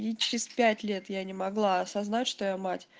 и через пять лет я не могла осознать что я мать